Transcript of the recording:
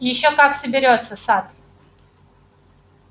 ещё как соберётся сатт